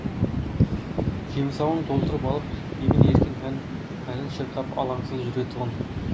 жемсауын толтырып алып емін еркін әнін шырқап алаңсыз жүрген тұғын